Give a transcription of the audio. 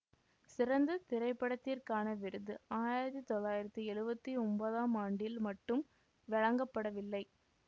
சிறந்த திரைப்படத்திற்கான விருது ஆயிரத்தி தொள்ளாயிரத்தி எழுவத்தி ஒன்பதாம் ஆண்டில் மட்டும் வழங்கப்படவில்லை